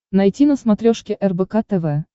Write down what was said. найти на смотрешке рбк тв